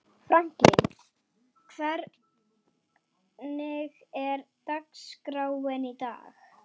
Franklín, hvernig er dagskráin í dag?